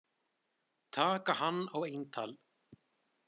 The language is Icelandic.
Taka hann á eintal.